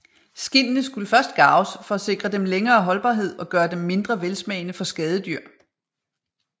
Skindene skulle først garves for at sikre dem længere holdbarhed og gøre dem mindre velsmagende for skadedyr